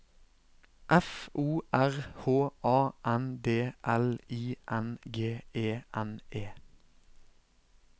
F O R H A N D L I N G E N E